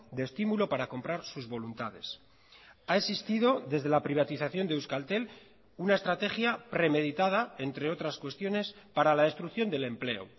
de estimulo para comprar sus voluntades ha existido desde la privatización de euskaltel una estrategia premeditada entre otras cuestiones para la destrucción del empleo